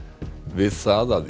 við það að